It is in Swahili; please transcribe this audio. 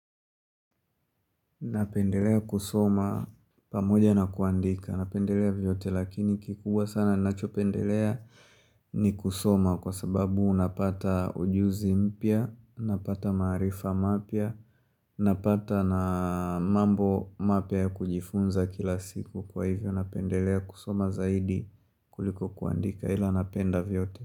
Napendelea kusoma pamoja na kuandika. Napendelea vyote lakini kikubwa sana ninachopendelea ni kusoma kwa sababu unapata ujuzi mpya, napata maarifa mapya, napata na mambo mapya ya kujifunza kila siku kwa hivyo. Napendelea kusoma zaidi kuliko kuandika ila napenda vyote.